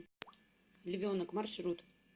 львенок маршрут